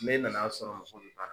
Mɛ nana sɔrɔ mɔgɔ bɛ